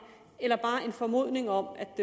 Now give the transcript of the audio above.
eller bare på en formodning om